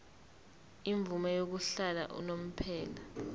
imvume yokuhlala unomphema